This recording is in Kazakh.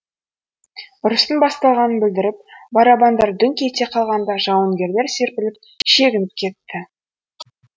ұрыстың басталғанын білдіріп барабандар дүңк ете қалғанда жауынгерлер серпіліп шегініп кетті